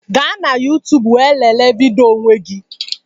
Gaa na youtube wee lelee vidiyo n'onwe gị